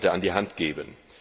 an die Hand geben.